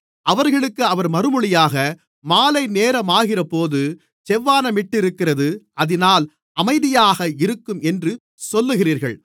அவர்களுக்கு அவர் மறுமொழியாக மாலைநேரமாகிறபோது செவ்வானமிட்டிருக்கிறது அதினால் அமைதியாக இருக்கும் என்று சொல்லுகிறீர்கள்